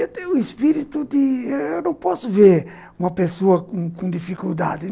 Eu tenho um espirito de ãh... Eu não posso ver uma pessoa com com dificuldade.